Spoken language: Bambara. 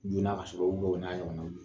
Ɲina ka sɔrɔ